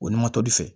O ni matori fɛ